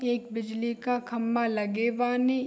ये एक बिजली का खंभा लगे बानी।